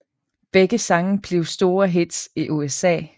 Begge sange blev store hits i USA